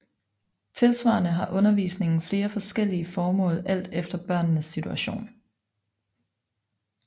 Tilsvarende har undervisningen flere forskellige formål alt efter børnenes situation